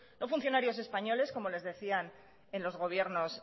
no funcionarios españoles como les decían en los gobiernos